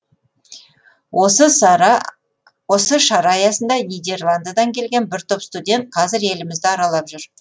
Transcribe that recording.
осы шара аясында нидерландыдан келген бір топ студент қазір елімізді аралап жүр